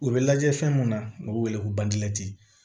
U bɛ lajɛ fɛn mun na u bɛ wele ko bangte